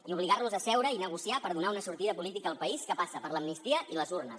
i obligar los a seure i negociar per donar una sortida política al país que passa per l’amnistia i les urnes